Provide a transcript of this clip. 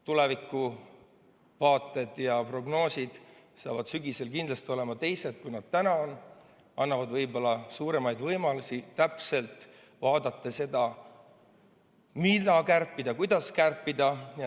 Tulevikuvaated, prognoosid saavad sügisel kindlasti olema teised, kui need on täna, ning annavad võib-olla suuremaid võimalusi täpselt vaadata seda, mida kärpida ja kuidas kärpida.